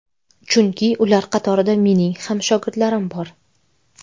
Chunki ular qatorida mening ham shogirdlarim bor.